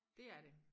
Dét er det